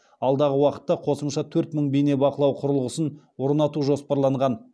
алдағы уақытта қосымша төрт мың бейнебақылау құрылғысын орнату жоспарланған